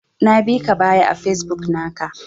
Na bika baya a Facebook naka.